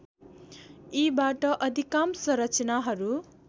यीबाट अधिकांश रचनाहरू